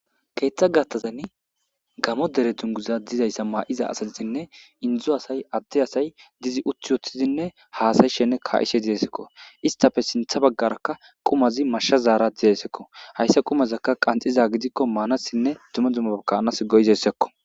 Keeththa gattazan gamo dere dunguza dizayssa maa'iza asalizinne indzu asay adde asay dizi uthi woththizinne haasayi shenne ka'ishe diesekko istafe sintha baggarakka qumazi mashsha zaara didesekko hayssa qumazakka qanxiza gidikko maanassinne dume duma kaanas goyizessekko.